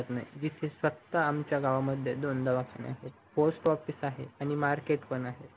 राहत नाही जिथे फक्त आमच्या गावामध्ये दोन दवाखाने आहेत post office आहेत आणि market पण आहे